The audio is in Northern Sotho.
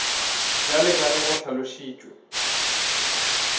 bjalo ka ge go hlalošitšwe